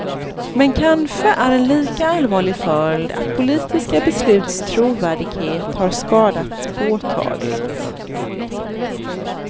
Men kanske är en lika allvarlig följd, att politiska besluts trovärdighet har skadats påtagligt.